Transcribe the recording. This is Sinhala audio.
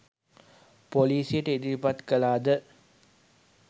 පොලිසියට ඉදිරිපත් කළාද?